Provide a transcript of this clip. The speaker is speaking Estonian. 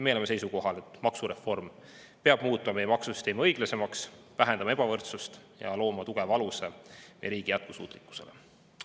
Meie oleme seisukohal, et maksureform peab muutma meie maksusüsteemi õiglasemaks, vähendama ebavõrdsust ja looma tugeva aluse meie riigi jätkusuutlikkusele.